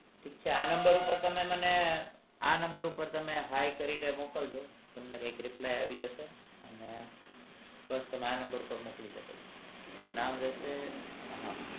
ઠીક છે આ number પર તમે મને આ number ઉપર તમે hiii કરીને મોકલ જો તમને એક reply આવી જશે અને બસ આ number મોકલી શકો છો નામ રહેશે હા